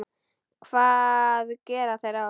Hvað gera þeir þá?